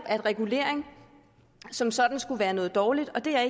at regulering som sådan skulle være noget dårligt og det er